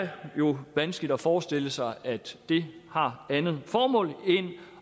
jo vanskeligt at forestille sig at det har andet formål end